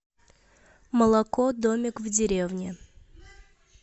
молоко домик в деревне